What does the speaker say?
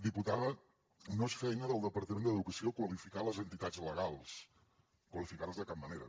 diputada no és feina del departament d’educació qualificar les entitats legals qualificar les de cap manera